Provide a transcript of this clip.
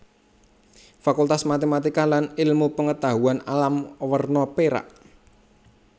Fakultas Matematika lan Ilmu Pengetahuan Alam werna perak